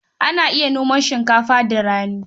Ana iya noma shinkafa da rani.